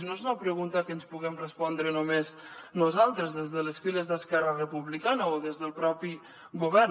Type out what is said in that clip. i no és una pregunta que ens puguem respondre només nosaltres des de les files d’esquerra republicana o des del propi govern